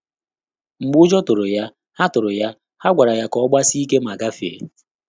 Mgbè ụ́jọ́ tụ́rụ̀ yá, há tụ́rụ̀ yá, há gwàrà yá kà ọ́ gbàsíé íké mà gàfèé.